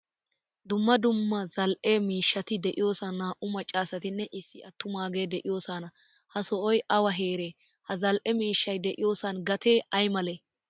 Dumma dumma zal"ee miishshatti deiyosan na"au maccasatinne issi attumagege deiyosona. Ha sohoy awa heere? Ha zal'e miishshay deiyosan gate aymale?